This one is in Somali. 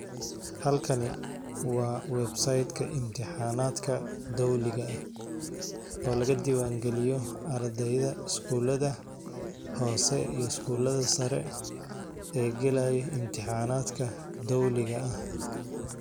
Halkan waxaa iiga muuqda sawiir wuxuu mujinaaya koox dad ah ama suuq ugu iibiyan qudaar taas oo mujineyso muhiimada.